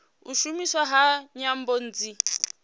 u shumiswa ha nyambo nnzhi